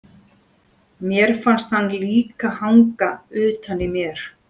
Mér fannst hann líka hanga utan í mér.